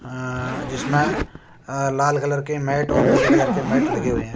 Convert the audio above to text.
आ जिसमें अ लाल कलर की मेट और नीले कलर की मेट लगे हुए हैं।